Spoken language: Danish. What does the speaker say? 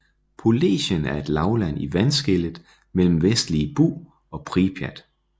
Polesien er et lavland i vandskellet mellem Vestlige Bug og Pripjat